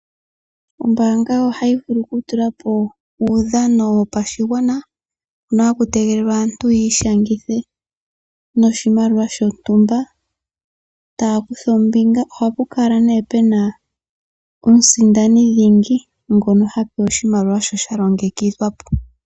Ombaanga ohayi vulu oku tulapo uudhano wopashigwana, hono haku tegelelwa aantu yiishangithe noshimaliwa shontumba, taya kutha ombinga, ohapu kala nee pena omusindani dhingi ngono ha pewa oshimaliwa sho sha longekidhwa po.